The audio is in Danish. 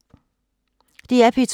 DR P2